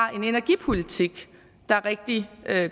har en energipolitik der er rigtig